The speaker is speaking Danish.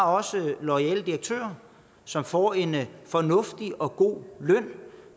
også har loyale direktører som får en fornuftig og god løn